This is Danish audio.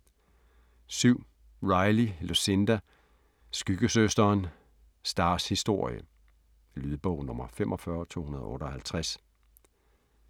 7. Riley, Lucinda: Skyggesøsteren: Stars historie Lydbog 45258